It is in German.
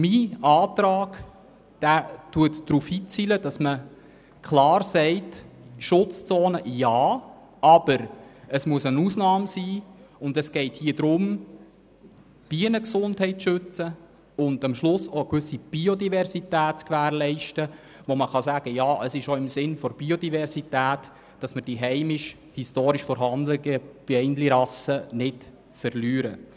Mein Antrag zielt darauf ab, Schutzzonen zu ermöglichen, aber als Ausnahme, um Bienengesundheit zu schützen und eine gewisse Biodiversität zu gewährleisten, damit wir die heimischen Bienenrassen nicht verlieren.